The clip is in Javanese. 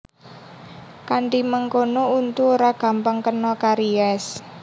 Kanthi mengkono untu ora gampang kena karies